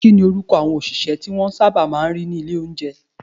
Kíni orúkọ àwọn òṣìṣẹ́ tí wọ́n sábà máa ń rí ní ilé oúnjẹ?